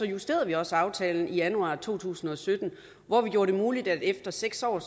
justerede vi også aftalen i januar to tusind og sytten hvor vi gjorde det muligt at efter seks år